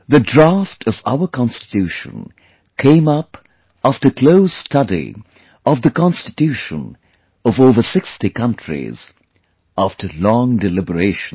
The Draft of our Constitution came up after close study of the Constitution of over 60 countries; after long deliberations